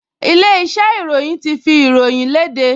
Ilé-iṣẹ́ ìròyìn ti fi ìròyìn le léde